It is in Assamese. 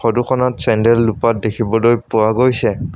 ফটোখনত চেণ্ডেল দুপাট দেখিবলৈ পোৱা গৈছে।